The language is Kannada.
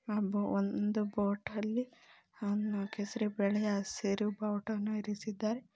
ಒಂದು ಬೋಟ್ ಅಲ್ಲಿ ಕೇಸರಿ ಬಿಳಿ ಹಸಿರು ಭಾವುಟವನ್ನು ಇರಿಸಿದ್ದಾರೆ.